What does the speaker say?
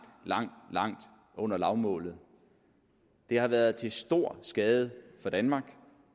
langt langt under lavmålet det har været til stor skade for danmark